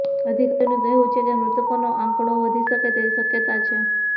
અધિકારીઓનું કહેવું છે કે મૃતકોનો આંકડો વધી શકે તેવી શક્યતા છે